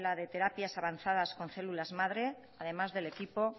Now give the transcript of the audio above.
de la sala de terapias avanzadas con células madre además del equipo